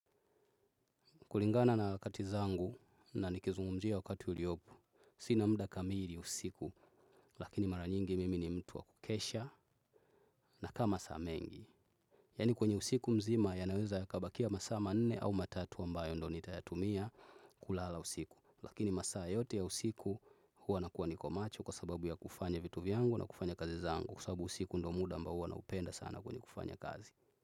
Kulingana na katizangu na nikizungumjia wakati uliopu, sinamda kamili usiku, lakini mara nyingi mimi ni mtu wa kukesha na kama saa mengi. Yani kwenye usiku mzima ya naweza ya kabakia masama nene au matatu wa mbayo ndo nitayatumia kulala usiku. Lakini masaa yote ya usiku huwa nakuwa nikomacho kwa sababu ya kufanya vitu vyangu na kufanya kazi zangu kusabu usiku ndo muda mba huwa na upenda sana kwenye kufanya kazi.